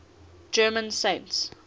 german saints